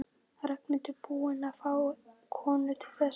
Ragnhildur búin að fá konu til þess?